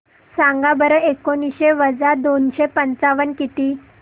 सांगा बरं एकोणीसशे वजा दोनशे पंचावन्न किती